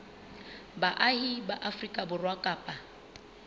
baahi ba afrika borwa kapa